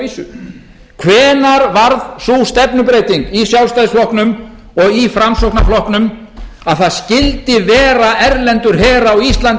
vísu hvenær varð sú stefnubreyting í sjálfstæðisflokknum og í framsóknarflokknum að það skyldi vera erlendur her á íslandi um aldur